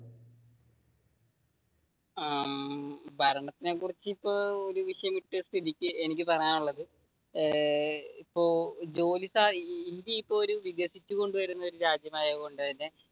ആഹ് ഭരണത്തിനെ കുറിച്ച് ഒരു വിഷയം ഇട്ട സ്ഥിതിയ്ക്ക് എനിക്ക് പറയാനുള്ളത് ഇപ്പൊ, ജോലി ഇന്ത്യ ഇപ്പൊ ഒരു വികസിച്ചു കൊണ്ട് വരുന്ന ഒരു രാജ്യമായതു കൊണ്ട് തന്നെ